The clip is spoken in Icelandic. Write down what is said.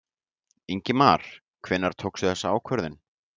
Ingimar: Hvenær tókstu þessa ákvörðun?